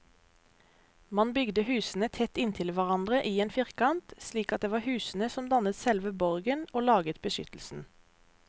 Man bygde husene tett inntil hverandre i en firkant, slik at det var husene som dannet selve borgen og laget beskyttelsen.